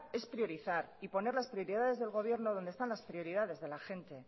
es priorizar y poner las prioridades del gobierno donde están las prioridades de la gente